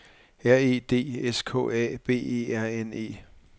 R E D S K A B E R N E